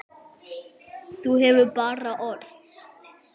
Þú hefur bara orð.